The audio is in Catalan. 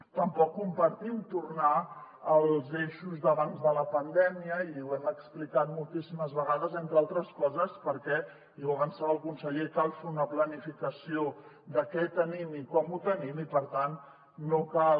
tampoc compartim tornar als eixos d’abans de la pandèmia i ho hem explicat moltíssimes vegades entre altres coses perquè i ho avançava el conseller cal fer una planificació de què tenim i com ho tenim i per tant no cal